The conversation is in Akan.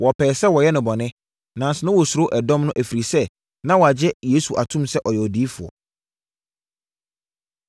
wɔpɛɛ sɛ wɔyɛ no bɔne, nanso na wɔsuro ɛdɔm no ɛfiri sɛ, na wɔagye Yesu atom sɛ ɔyɛ Odiyifoɔ.